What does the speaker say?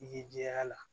I ye jɛya